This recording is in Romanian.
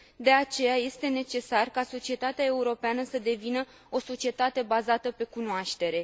De aceea este necesar ca societatea europeană să devină o societate bazată pe cunoaștere.